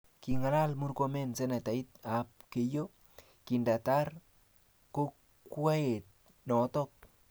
Kingalal Murkomen senetait ab Keiyo kindatar kokwet noto